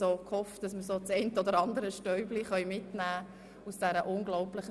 Wir alle hofften, dass wir das eine oder andere Stäubchen mitnehmen können.